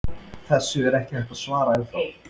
Þessu er ekki hægt að svara ennþá.